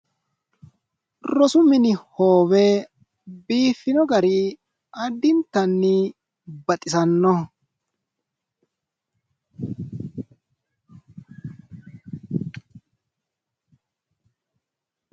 Rosu mini hoowe biiffino gari addintanni baxisannoho.